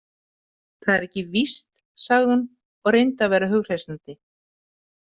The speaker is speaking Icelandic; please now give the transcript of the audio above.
Það er ekki víst, sagði hún og reyndi að vera hughreystandi.